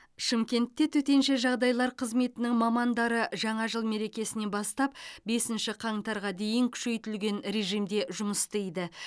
шымкентте төтенше жағдайлар қызметінің мамандары жаңа жыл мерекесінан бастап бесінші қаңтарға дейін күшейтілген режимде жұмыс істейді